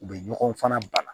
U bɛ ɲɔgɔn fana banna